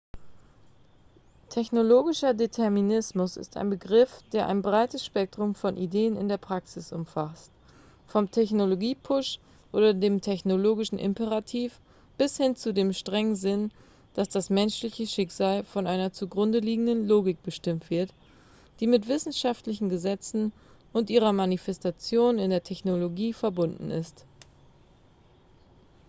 technologischer determinismus ist ein begriff der ein breites spektrum von ideen in der praxis umfasst vom technologie-push oder dem technologischen imperativ bis hin zu dem strengen sinn dass das menschliche schicksal von einer zugrunde liegenden logik bestimmt wird die mit wissenschaftlichen gesetzen und ihrer manifestation in der technologie verbunden ist